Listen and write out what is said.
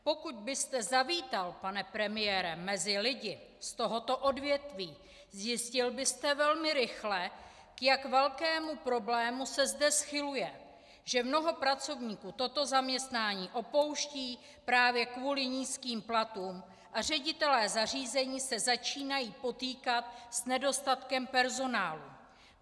Pokud byste zavítal, pane premiére, mezi lidi z tohoto odvětví, zjistil byste velmi rychle, k jak velkému problému se zde schyluje, že mnoho pracovníků toto zaměstnání opouští právě kvůli nízkým platům a ředitelé zařízení se začínají potýkat s nedostatkem personálu.